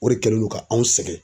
O de kɛlen do ka anw sɛgɛn.